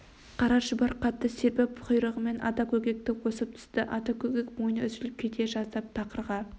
қара шұбар қатты серпіп құйрығымен ата көкекті осып түсті ата көкек мойны үзіліп кете жаздап тақырға